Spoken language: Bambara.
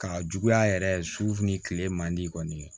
Ka juguya yɛrɛ su ni kile man di kɔni